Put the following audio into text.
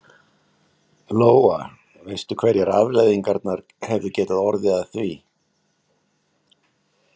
Lóa: Veistu hverjar afleiðingarnar hefðu getað orðið að því?